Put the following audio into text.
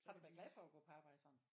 Har du været glad for at gå på arbejde sådan